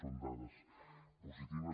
són dades positives